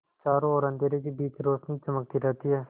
चारों ओर अंधेरे के बीच रौशनी चमकती रहती है